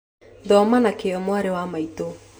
Thoma na kĩyo mwarĩ wa maitũ